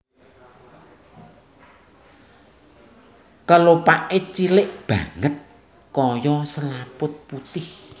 Kelopaké cilik banget kaya selaput putih